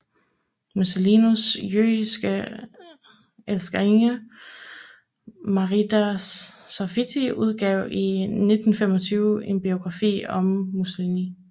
Mussolinis jødiske elskerinde Margherita Sarfatti udgav i 1925 en biografi om Mussolini